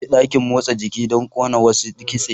Zan je dakin motsa jiki don ƙona wasu kitse.